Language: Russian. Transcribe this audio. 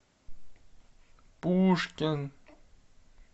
пушкин